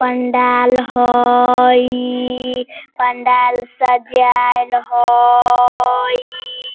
पंडाल हईई पंडाल सजाइल हईई।